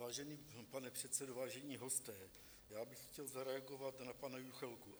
Vážený pane předsedo, vážení hosté, já bych chtěl zareagovat na pana Juchelku.